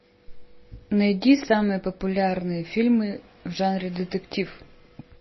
найди самые популярные фильмы в жанре детектив